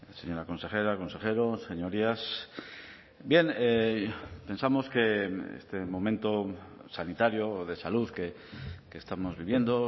señora consejera consejeros señorías bien pensamos que este momento sanitario de salud que estamos viviendo